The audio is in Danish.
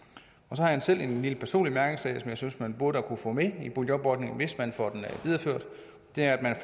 så har jeg selv en lille personlig mærkesag som jeg synes man burde kunne få med i boligjobordningen hvis man får den videreført det er at man